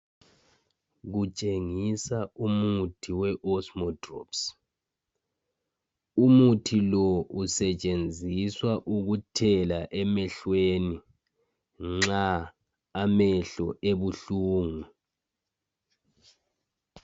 Kutshengisa umuthi we Osmodrops. Umuthi lo usetshenziswa ukuthela emehlweni nxa amehlo ebuhlungu.